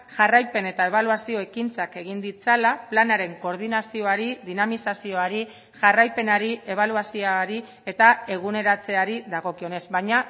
jarraipen eta ebaluazio ekintzak egin ditzala planaren koordinazioari dinamizazioari jarraipenari ebaluazioari eta eguneratzeari dagokionez baina